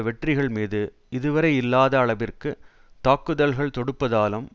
வெற்றிகள் மீது இதுவரையில்லாத அளவிற்கு தாக்குதல்கள் தொடுப்பதாலும்